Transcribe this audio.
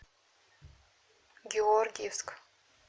георгиевск